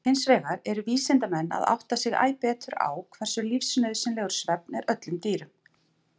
Hinsvegar eru vísindamenn að átta sig æ betur á hversu lífsnauðsynlegur svefn er öllum dýrum.